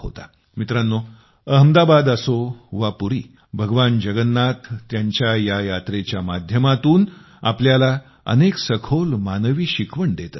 मित्रांनो अहमदाबाद असो वा पुरी भगवान जगन्नाथ त्यांच्या या यात्रेच्या माध्यमातून आपल्याला अनेक सखोल मानवी शिकवण देत असतात